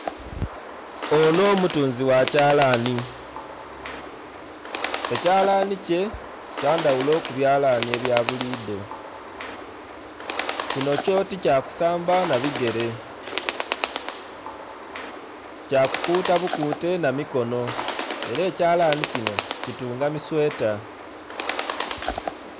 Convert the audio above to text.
Onho mutunzi gha kyalani , ekyalani kye kya ndhaghulo ku byalani ebya bulidho, kinho kyo ti kya kusamba nha bigere kya kukuta bukute nha mikono era ekyalani kinho kutunga misweta.